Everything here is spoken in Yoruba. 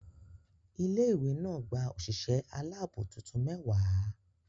Ilé ìwé náà gba òṣìṣẹ́ aláàbò tuntun mẹ́wàá.